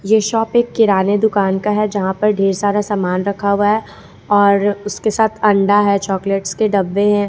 ये शॉप एक किराने दुकान का है जहां पर ढेर सारा सामान रखा हुआ है और उसके साथ अंडा है चॉकलेटस के डब्बे हैं।